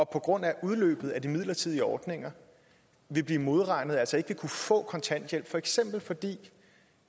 på grund af udløbet af de midlertidige ordninger vil blive modregnet og altså ikke vil kunne få kontanthjælp for eksempel fordi